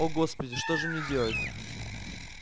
о господи что же мне делать